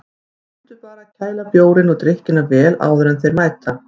Mundu bara að kæla bjórinn og drykkina vel áður en þeir mæta.